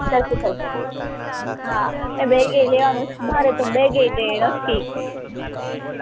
એ બેગએય લેવાનું છે મારે તો બેગેય નથી